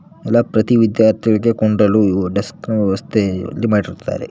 ಪ್ರತಿ ವಿದ್ಯಾರ್ಥಿಗಳಿಗೆ ಕುಂಡಲು ಡಸ್ಕ್ ನ ವ್ಯವಸ್ಥೆ ಇಲ್ಲಿ ಮಾಡಿರುತ್ತಾರೆ.